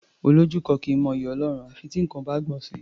Olójú kan kì í mọ'yì Ọlọ́run à fi tí nǹkan bá gbọ̀n sí i.